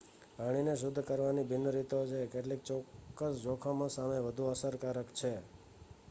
પાણીને શુદ્ધ કરવાની ભિન્ન રીતો છે કેટલીક ચોક્કસ જોખમો સામે વધુ અસરકારક છે